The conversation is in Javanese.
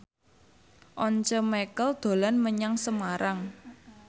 Once Mekel dolan menyang Semarang